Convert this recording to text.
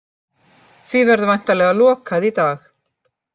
Því verður væntanlega lokað í dag